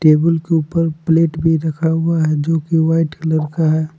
Table के ऊपर plate भी रखा हुआ है जो की वाइट कलर का है।